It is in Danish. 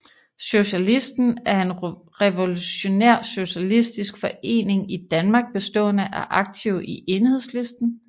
Socialisten er en revolutionær socialistisk forening i Danmark bestående af aktive i Enhedslisten